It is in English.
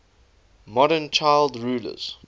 modern child rulers